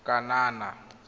kanana